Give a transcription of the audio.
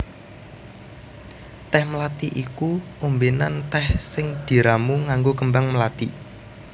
Tèh mlathi iku ombènan tèh sing diramu nganggo kembang mlathi